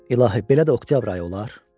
İlahi, belə də oktyabr ayı olar, dedi.